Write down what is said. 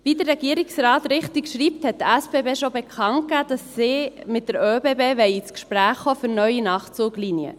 Wie der Regierungsrat richtig schreibt, haben die SBB schon bekannt gegeben, dass sie mit den ÖBB ins Gespräch kommen wollen für neue Nachtzuglinien.